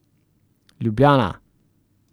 Ljubljana.